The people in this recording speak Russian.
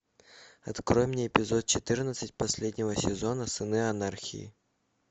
открой мне эпизод четырнадцать последнего сезона сыны анархии